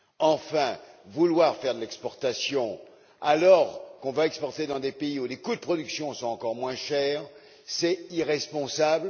Enfin, vouloir faire de l'exportation alors qu'on va exporter dans des pays où les coûts de production sont encore moins élevés, c'est irresponsable.